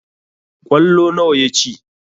Ƙwallo nawa ya ci?